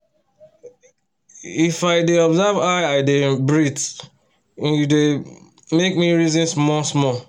if i dey observe how i dey um breath e um dy um make me reason small small